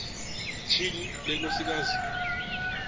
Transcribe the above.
tyhini le nkosikazi